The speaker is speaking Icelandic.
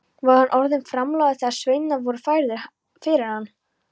Var hann orðinn framlágur þegar sveinarnir voru færðir fyrir hann.